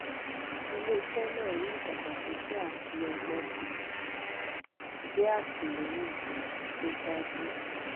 ilé iṣẹ náà rí ìdàgbàsókè àfiọgbọnṣe jẹ àtìlẹyìn um tó dájú